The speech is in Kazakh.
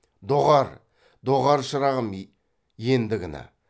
доғар доғар шырағым ендігіні